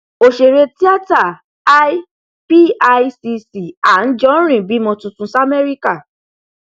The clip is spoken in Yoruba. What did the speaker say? ọsèré tíátà l picc anijọrin bímọ tuntun s america